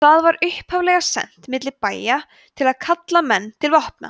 það var upphaflega sent milli bæja til að kalla menn til vopna